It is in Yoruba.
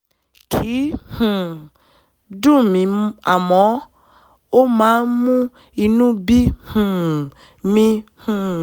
kìí um dùn mí àmọ́ ó máa ń mú inú bí um mi um